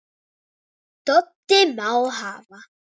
Doddi: Má hafa